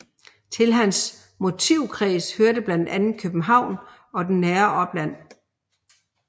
Til hans motivkreds hørte blandt andet København og det nære opland